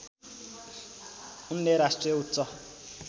उनले राष्ट्रिय उच्च